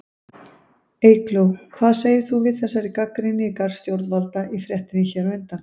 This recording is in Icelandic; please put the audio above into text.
Eygló, hvað segir þú við þessari gagnrýni í garð stjórnvalda í fréttinni hér á undan?